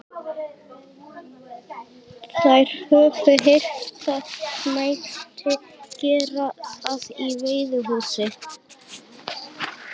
Þær höfðu heyrt það mætti gera það í veiðihúsi.